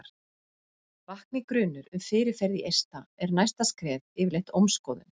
vakni grunur um fyrirferð í eista er næsta skref yfirleitt ómskoðun